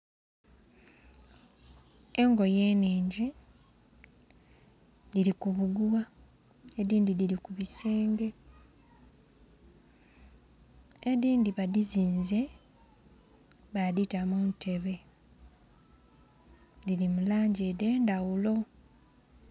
Engoye nhingi dhiri kubugugha edhindhi dhiri kubisenge edhindhi badhizinze badhita muntebe dhiri mulangi edhendhaghulo